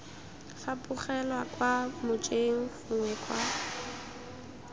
fapogelwa kwa mojeng gongwe kwa